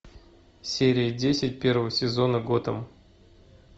серия десять первого сезона готэм